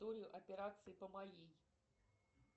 операции по моей